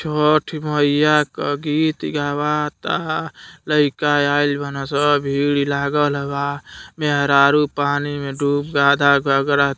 छठ मइया क गीत गवाता लइका आइल बाना सन भीड़ लागल बा मेहरारू पानी में डूब आधा गगरा --